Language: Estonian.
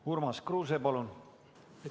Urmas Kruuse, palun!